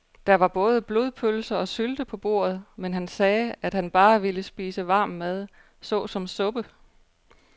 Der var både blodpølse og sylte på bordet, men han sagde, at han bare ville spise varm mad såsom suppe.